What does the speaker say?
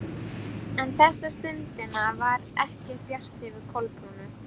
En þessa stundina var ekki bjart yfir Kolbrúnu.